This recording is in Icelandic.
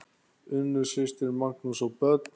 Unnur systir, Magnús og börn.